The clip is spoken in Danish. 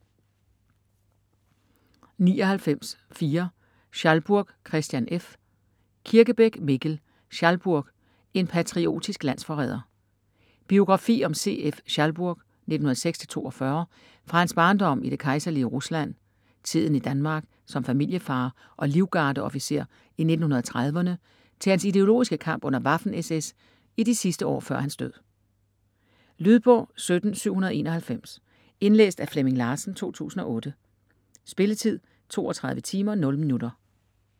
99.4 Schalburg, Christian F. Kirkebæk, Mikkel: Schalburg: en patriotisk landsforræder Biografi om C.F. Schalburg (1906-1942) fra hans barndom i det kejserlige Rusland, tiden i Danmark som familiefar og livgardeofficer i 1930'erne til hans ideologiske kamp under Waffen SS i de sidste år før hans død. Lydbog 17791 Indlæst af Flemming Larsen, 2008. Spilletid: 32 timer, 0 minutter.